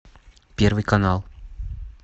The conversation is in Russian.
первый канал